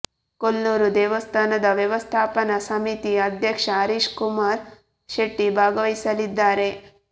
ಕೊಲ್ಲೂರು ದೇವಸ್ಥಾನದ ವ್ಯವಸ್ಥಾಪನಾ ಸಮಿತಿ ಅಧ್ಯಕ್ಷ ಹರೀಶ್ ಕುಮಾರ್ ಶೆಟ್ಟಿ ಭಾಗವಹಿಸಲಿದ್ದಾರೆ